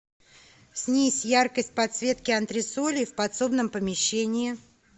снизь яркость подсветки антресолей в подсобном помещении